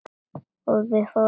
Og við fórum í bæinn.